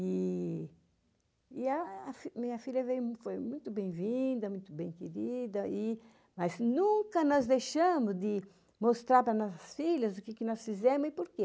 E a minha filha foi muito bem-vinda, muito bem-querida, mas nunca nos deixamos de mostrar para as nossas filhas o que nós fizemos e por quê.